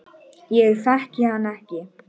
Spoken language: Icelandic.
Ég þekki hann ekkert.